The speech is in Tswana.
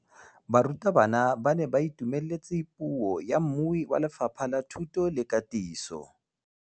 Barutabana ba ne ba itumeletse puô ya mmui wa Lefapha la Thuto le Katiso.